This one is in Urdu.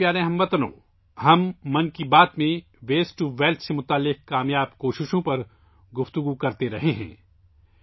میرے پیارے ہم وطنو، 'من کی بات' میں ہم 'ویسٹ ٹو ویلتھ' یعنی کچرے سے حصول دولت سے وابستہ کامیاب کوششوں پر بات کر رہے ہیں